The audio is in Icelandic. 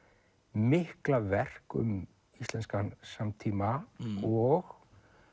mikla verk um íslenskan samtíma og